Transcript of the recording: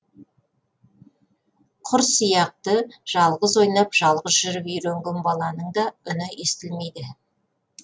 құр сияқты жалғыз ойнап жалғыз жүріп үйренген баланың да үні естілмейді